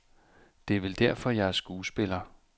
Det er vel derfor, jeg er skuespiller.